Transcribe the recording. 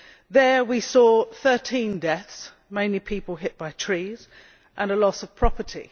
There we saw 13 deaths, mainly people hit by trees, and loss of property.